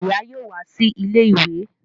Ìyá yóò wá sí ilé ìwé